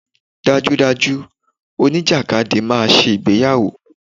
Dájúdájú, oníjàkadì máa ṣe ìgbéyàwó.